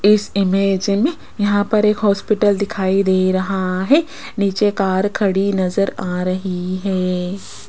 इस इमेज में यहां पर एक हॉस्पिटल दिखाई दे रहा है नीचे कार खड़ी नजर आ रही है।